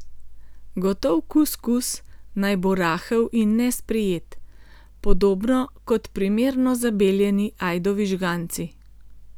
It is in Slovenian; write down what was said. Gotov kuskus naj bo rahel in nesprijet, podobno kot primerno zabeljeni ajdovi žganci.